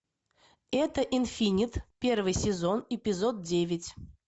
это инфинит первый сезон эпизод девять